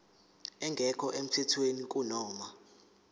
engekho emthethweni kunoma